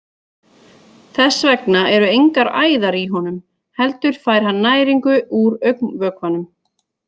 Þess vegna eru engar æðar í honum heldur fær hann næringu úr augnvökvanum.